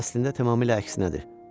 Əslində tamamilə əksinədir.